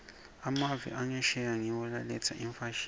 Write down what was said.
emave angesheya ngiwo laletsa imfashini